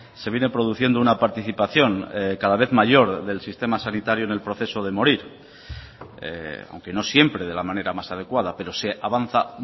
se viene produciendo una participación cada vez mayor del sistema sanitario en el proceso de morir aunque no siempre de la manera más adecuada pero se avanza